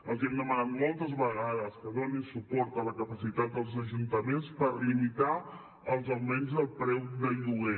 els hem demanat moltes vegades que donin suport a la capacitat dels ajuntaments per limitar els augments del preu del lloguer